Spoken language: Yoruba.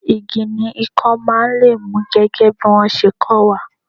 Igi ni ikan máa ń lé mú gẹ́gẹ́ bí wọn ṣe kó wa.